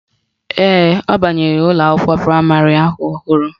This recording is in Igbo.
Ee, ọ banyere ụlọakwụkwọ praịmarị ahụ ọhụrụ